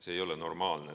See ei ole normaalne.